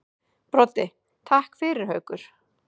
Broddi: Takk fyrir það Haukur.